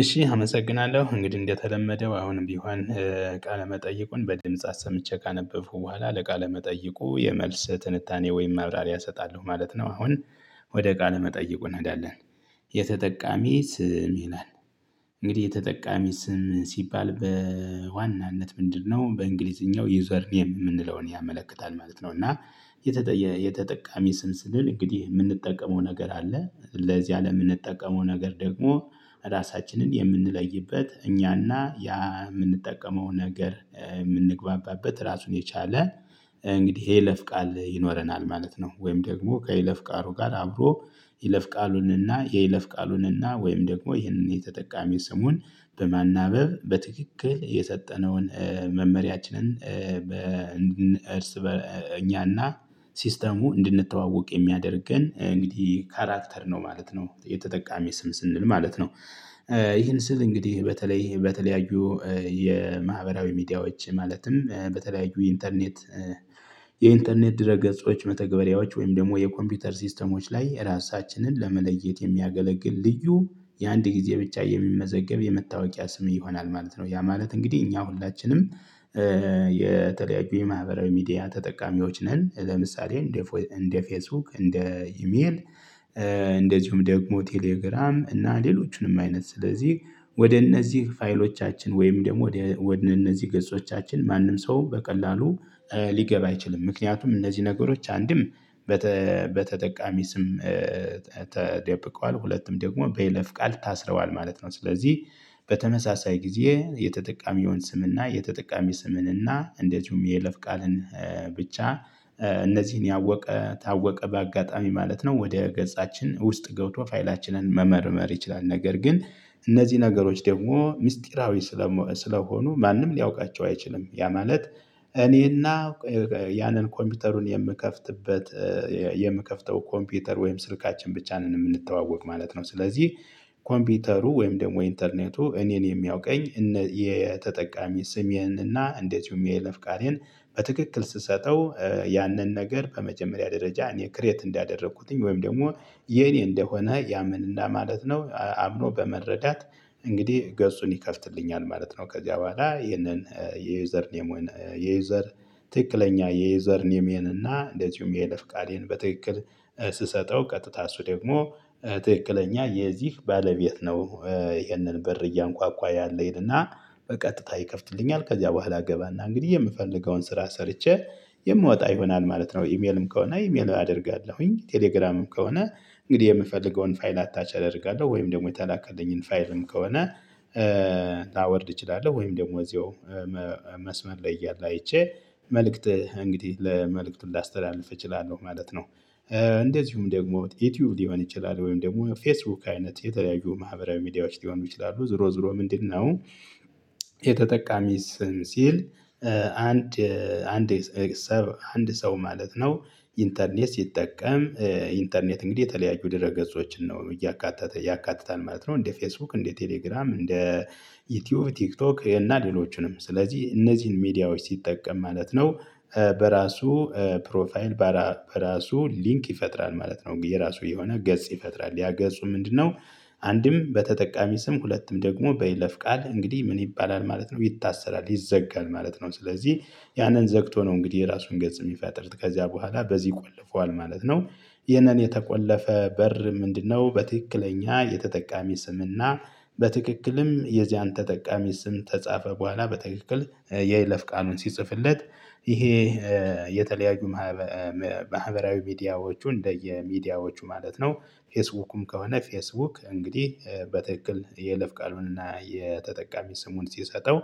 እሺ አመሰግናለሁ እንግዲህ እንደተለመደው አሁንም ቢሆን ቃለ መጠይቁን በድምጽ አሰምቼ ካነበብኩ በኋላ ለቃለ መጠይቁ የመልስ ትንታኔ ወይም ማብራሪያ እሰጣለሁ ማለት ነው። አሁን ወደ ቃለ መጠይቁ እንሄዳለን። የተጠቃሚ ስም ይላል እንግዲህ የተጠቃሚ ስም ሲባል በዋናነት ምንድነው? በእንግሊዝኛው ዩዘር ኔም የምንለውን ያመለክታል ማለት ነው። እና የተጠቃሚ ስም ስንል እንግዲህ የምንጠቀመው ነገር አለ ለዚያ ለምንጠቀመው ነገር ደግሞ ራሳችንን የምንለይበት እኛና ያ የምንጠቀመው ነገር የምንግባባበት ራሱን የቻለ። እንግዲህ ይለፍ ቃል ይኖረናል ማለት ነው። ወይም ደግሞ ከይለፍ ቃሉ ጋር አብሮ ይለፍ ቃሉንና ይለፍ ቃሉንና ወይም ደግሞ ይህንን የተጠቃሚ ስሙን በማናበብ በትክክል የሰጠነውን መመሪያችንን። እኛና ሲስተሙ እንድንተዋወቅ የሚያደርገን እንግዲህ ካራክተር ነው ማለት ነው። የተጠቃሚ ስም ስንል ማለት ነው። ይሄን ስል እንግዲህ በተለይ በተለያዩ የማህበራዊ ሚዲያዎች ማለትም በተለያዩ ኢንተርኔት የኢንተርኔት ድረ ገጾች መተግበሪያዎች ወይም ደግሞ የኮምፒውተር ሲስተሞች ላይ ራሳችንን ለመለየት የሚያገለግል ልዩ የአንድ ጊዜ ብቻ የሚመዘገብ የመታወቂያ ስም ይሆናል ማለት ነው። ያ ማለት እንግዲህ እኛ ሁላችንም። የተለያዩ የማህበራዊ ሚዲያ ተጠቃሚዎች ነን ለምሳሌ እንደ እንደ ፌስቡክ እንደ ኢሜል። እንደዚሁም ደግሞ ቴሌግራም እና ሌሎቹንም አይነት ስለዚህ ወደ እነዚህ ፋይሎቻችን ወይም ደግሞ ወደ እነዚህ ገጾቻችን ማንም ሰው በቀላሉ ሊገባ አይችልም። ምክንያቱም እነዚህ ነገሮች አንድም በተጠቃሚ ስም ተደብቀዋል ሁለትም ደግሞ በይለፍ ቃል ታስረዋል ማለት ነው። ስለዚህ በተመሳሳይ ጊዜ የተጠቃሚ የሆነ ስምና የተጠቃሚ ስምንና እንደዚሁም የይለፍ ቃልን ብቻ እነዚህን ያወቀ ታወቀ በአጋጣሚ ማለት ነው። ወደ ገጻችን ውስጥ ገብቶ ፋይላችንን መመርመር ይችላል። ነገር ግን እነዚህ ነገሮች ደግሞ ሚስጥራዊ ስለሆኑ ማንም ሊያውቃቸው አይችልም። ያ ማለት እኔና ያንን ኮምፒውተሩን የምከፍትበት የምከፍተው ኮምፒውተር ወይም ስልካችን ብቻ ነን የምንተዋወቅ ማለት ነው። ስለዚህ ኮምፒውተሩ ወይም ደግሞ ኢንተርኔቱ እኔን የሚያውቀኝ የተጠቃሚ ስም ይሄንን እና እንደዚሁም የይለፍ ቃሌን በትክክል ስሰጠው ያንን ነገር በመጀመሪያ ደረጃ እኔ ክሬት እንዳደረኩትኝ ወይም ደግሞ የኔ እንደሆነ ያምንልናል ማለት ነው። አምኖ በመረዳት እንግዲህ ገጹን ይከፍትልኛል ማለት ነው። ከዚያ በኋላ ይሄንን የዩዘር ኔም የዩዘር ትክክለኛ የዩዘር ኔሜን እና እንደዚሁም የይለፍ ቃሌን በትክክል ስሰጠው ቀጥታ እሱ ደግሞ ትክክለኛ የዚህ ባለቤት ነው። ይሄንን በር እያንኳኳ ያለ ይልና በቀጥታ ይከፍትልኛል ከዚያ በኋላ ገባና እንግዲህ የምፈልገውን ስራ ሰርቼ የምወጣ ይሆናል ማለት ነው። ኢሜልም ከሆነ ኢሜል አደርጋለሁኝ ቴሌግራምም ከሆነ እንግዲህ የምፈልገውን ፋይል አታች አደርጋለሁ ወይም ደግሞ የተላከልኝን ፋይልም ከሆነ ላወርድ እችላለሁ ወይም ደግሞ እዚሁ መስመር ላይ እያለ አይቼ መልእክት እንግዲህ መልእክቱን ላስተላልፍ እችላለሁ ማለት ነው። እንደዚሁም ደግሞ ዩቲዩብ ሊሆን ይችላል ወይም ደግሞ ፌስቡክ አይነት የተለያዩ ማህበራዊ ሚዲያዎች ሊሆኑ ይችላሉ። ዙሮ ዙሮ ምንድነው? የተጠቃሚ ስም ሲል አንድ አንድ አንድ ሰው ማለት ነው። ኢንተርኔት ሲጠቀም ኢንተርኔት እንግዲህ የተለያዩ ድረ ገጾችን ነው እያካተተ ያካትታል ማለት ነው። እንደ ፌስቡክ እንደ ቴሌግራም እንደ ዩቲዩብ ቲክቶክ እና ሌሎችንም ስለዚህ እነዚህን ሚዲያዎች ሲጠቀም ማለት ነው። በራሱ ፕሮፋይል በራሱ ሊንክ ይፈጥራል ማለት ነው። የራሱ የሆነ ገጽ ይፈጥራል ያ ገጹ ምንድነው? አንድም በተጠቃሚ ስም ሁለትም ደግሞ በይለፍ ቃል እንግዲህ ምን ይባላል ማለት ነው። ይታሰራል ይዘጋል ማለት ነው። ስለዚህ ያንን ዘግቶ ነው እንግዲህ የራሱን ገጽ የሚፈጥር ከዚያ በኋላ በዚህ ይቆልፈዋል ማለት ነው። ይህንን የተቆለፈ በር ምንድነው? በትክክለኛ የተጠቃሚ ስምና በትክክልም የዚያን ተጠቃሚ ስም ከጻፈ በኋላ በትክክል የይለፍ ቃሉን ሲጽፍለት ይሄ የተለያዩ ማህበራዊ ሚዲያዎቹ እንደየሚዲያዎቹ ማለት ነው። ፌስቡክም ከሆነ ፌስቡክ እንግዲህ በትክክል የይለፍ ቃሉንና የተጠቃሚ ስሙን ሲሰጠው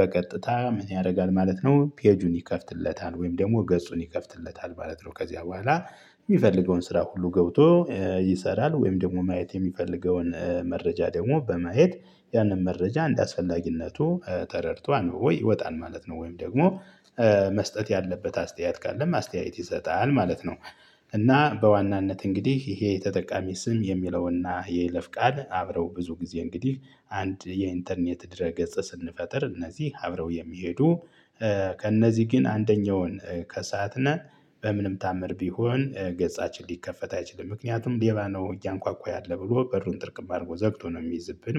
በቀጥታ ምን ያደርጋል ማለት ነው። ፔጁን ይከፍትለታል ወይም ደግሞ ገጹን ይከፍትለታል ማለት ነው። ከዚያ በኋላ የሚፈልገውን ስራ ሁሉ ገብቶ ይሰራል ወይም ደግሞ ማየት የሚፈልገውን መረጃ ደግሞ በመሄድ ያንን መረጃ እንደአስፈላጊነቱ ተረድቶ አንብቦ ይወጣል ማለት ነው። ወይም ደግሞ መስጠት ያለበት አስተያየት ካለም አስተያየት ይሰጣል ማለት ነው። እና በዋናነት እንግዲህ ይሄ ተጠቃሚ ስም የሚለውና የለፍ ቃል አብረው ብዙ ጊዜ እንግዲህ አንድ የኢንተርኔት ድረ ገጽ ስንፈጥር እነዚህ አብረው የሚሄዱ ከእነዚህ ግን አንደኛውን ከሳትነ በምንም ታምር ቢሆን ገጻችን ሊከፈት አይችልም። ምክንያቱም ሌባ ነው እያንኳኳ ያለ ብሎ በሩን ጥርቅም አድርጎ ዘግቶ ነው የሚይዝብን